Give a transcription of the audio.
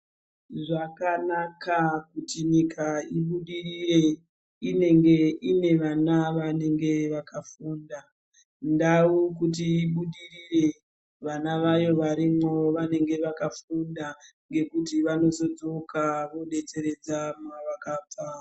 Zvakanaka kuti nyika ibudirire inenge ine vana vanenge vakafunda, ndau kuti ibudirire vana vayo varimwo vanenge vakafunda ngekuti vanozodzoka vodetseredza mavakabva.